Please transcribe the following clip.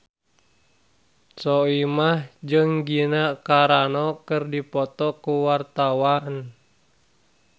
Soimah jeung Gina Carano keur dipoto ku wartawan